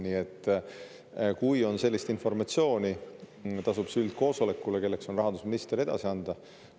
Nii et kui on sellist informatsiooni, tasub see üldkoosolekule, kelleks on rahandusminister, edasi anda.